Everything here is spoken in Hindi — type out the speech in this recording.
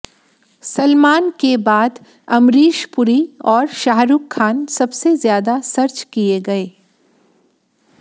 सलमान के बाद अमरीश पुरी और शाहरुख खान सबसे ज्यादा सर्च किए गए